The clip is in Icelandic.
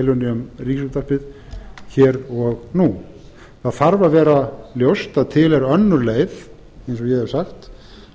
um ríkisútvarpið hér og nú það þarf að vera ljóst að til er önnur leið eins og ég hef sagt